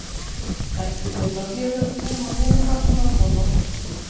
Bentu þeir þá félögum sínum á hinum bátnum að koma og hjálpa sér.